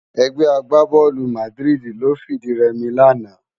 Ègbè àgbábòlú Màdiridi ló fi di rèmi làná